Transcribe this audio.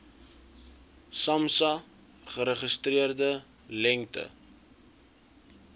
samsa geregistreerde lengte